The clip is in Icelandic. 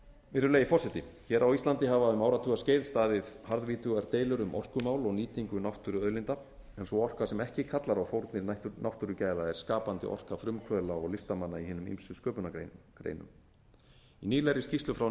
virðulegi forseti hér á íslandi hafa um áratugaskeið staðið harðvítugar deilur um orkumál og nýtingu náttúruauðlinda en sú orka sem ekki kallar á fórnir náttúrugæða er skapandi orka frumkvöðla og listamanna í hinum ýmsu sköpunargreinum í nýlegri skýrslu frá